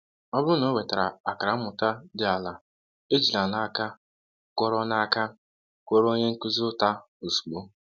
Ọ bụrụ na ọ nwetara akara mmụta dị ala, ejila n’aka kụọrọ n’aka kụọrọ onye nkuzi ụta ozugbo.